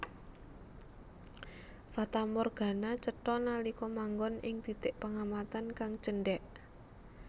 Fatamorgana cetha nalika manggon ing titik pengamatan kang cendhèk